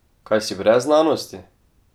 Kaj si brez znanosti?